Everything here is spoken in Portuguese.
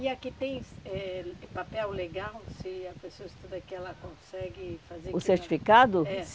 E aqui tem eh papel legal se a pessoa estudar aqui ela consegue fazer... O certificado? É.